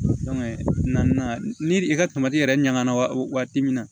ni i ka yɛrɛ ɲaga na waati min na